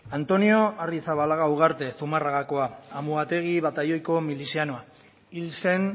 antonio arrizabalaga ugarte zumarragakoa amuategi batailoiko milizianoa hil zen